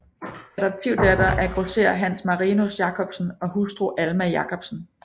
Adoptivdatter af grosserer Hans Marinus Jacobsen og hustru Alma Jacobsen